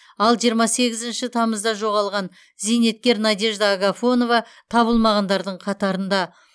ал жиырма сегізінші тамызда жоғалған зейнеткер надежда агафонова табылмағандардың қатарында